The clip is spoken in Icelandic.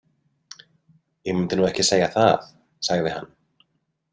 Ég mundi nú ekki segja það, sagði hann.